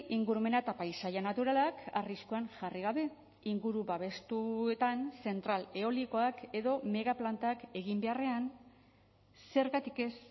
ingurumena eta paisaia naturalak arriskuan jarri gabe inguru babestuetan zentral eolikoak edo megaplantak egin beharrean zergatik ez